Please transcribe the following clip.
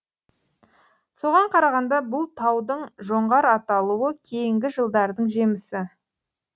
соған қарағанда бұл таудың жоңғар аталуы кейінгі жылдардың жемісі